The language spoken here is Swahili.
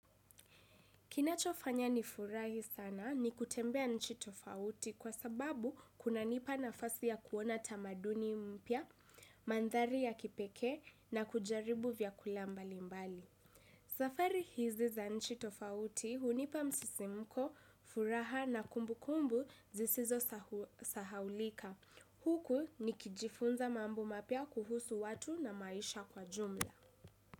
Kinachofanya nifurahi sana ni kutembea nchi tofauti kwa sababu kunanipa nafasi ya kuona tamaduni mpya, mandhari ya kipekee na kujaribu vyakula mbalimbali. Safari hizi za nchi tofauti hunipa msisimko, furaha na kumbukumbu zisizosahaulika. Huku nikijifunza mambo mapya kuhusu watu na maisha kwa jumla.